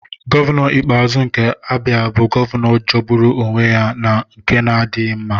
Gọvanọ Ikpeazu nke Abia bụ gọvanọ jọgburu onwe ya na nke na-adịghị mma.